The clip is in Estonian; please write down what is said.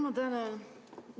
Ma tänan!